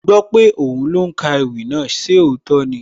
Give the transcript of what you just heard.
Mo gbọ́ pé òhún ló ń ka ewì náà, ṣé òótọ́ ni?